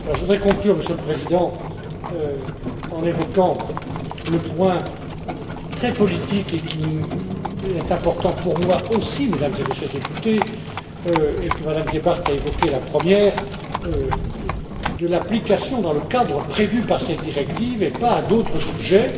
Je voudrais conclure, Monsieur le Président, en évoquant le point très politique, qui est important pour moi aussi, Mesdames et Messieurs les députés, et que Mme Gebhardt a évoqué la première, de l'application dans le cadre prévu par cette directive et pas à d'autres sujets.